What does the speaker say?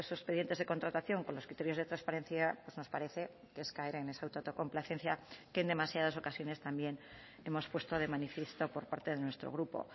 expedientes de contratación con los criterios de transparencia pues nos parece que es caer en esa autocomplacencia que en demasiadas ocasiones también hemos puesto de manifiesto por parte de nuestro grupo